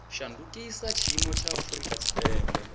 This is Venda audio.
shandukisa tshiimo tsha afurika tshipembe